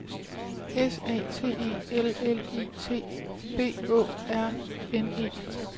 S A T E L L I T B Å R N E